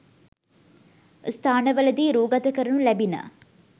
ස්ථානවලදී රූගත කරනු ලැබිණ